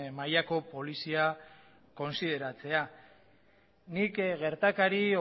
mailako polizia kontsideratzea nik gertakari